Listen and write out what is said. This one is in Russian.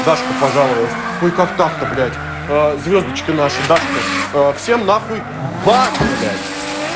дашка пожаловалась ой как так-то блять звёздочка наша дашка всем нахуй бан блять